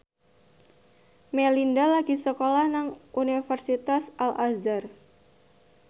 Melinda lagi sekolah nang Universitas Al Azhar